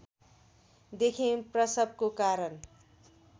देखि प्रसवको कारण